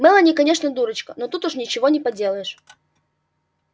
мелани конечно дурочка но тут уж ничего не поделаешь